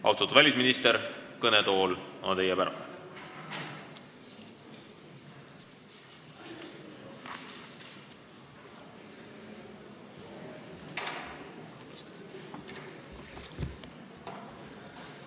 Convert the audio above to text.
Austatud välisminister, kõnetool on teie päralt!